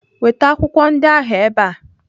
Weta akwụkwọ ndị ahụ ebe a!